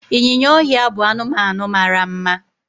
ịnyịnya ọhịa bụ anụmanụ mara mma